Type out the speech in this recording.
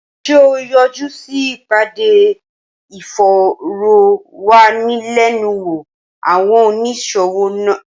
Ṣé o yọjú sí ìpàdé ìfòròwánilénuwò àwọn oníṣòwò?